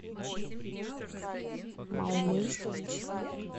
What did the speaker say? малмыж